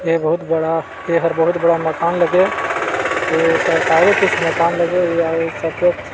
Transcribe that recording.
ये बहुत बड़ा ए हर बहुत बड़ा मकान लगे ये सरकारी कुछ मकान लगे हुवे हे